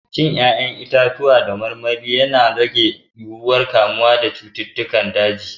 Cin 'ƴa'ƴan itatuwa da kayan marmari na rage yiwuwar kamuwa da cutar daji.